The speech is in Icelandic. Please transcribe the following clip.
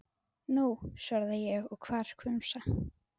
Nú, svaraði ég og var hvumsa.